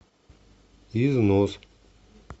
износ